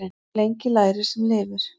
Svo lengi lærir sem lifir.